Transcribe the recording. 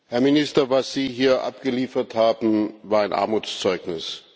Herr Minister, was Sie hier abgeliefert haben, war ein Armutszeugnis.